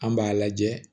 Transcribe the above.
An b'a lajɛ